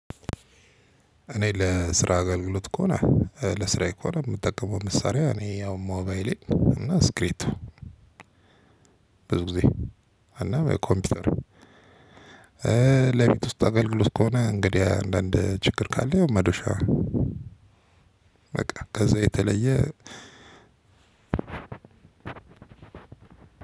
እኔ ለስራ አገልግሎት ከሆነ ለስራዬ ከሆነ የምጠቀመው መሳሪያ እኔ አሁን ሞባይሌ እና ስክሪብቶ ብዙ ጊዜ እና ኮምፒውተር። ለቤት ውስጥ አገልግሎት ከሆነ እንግዲህ አንዳንድ ችግር ካለ ያው መዶሻ በቃ ከዛ የተለየ